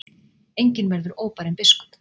Enginn verður óbarinn biskup.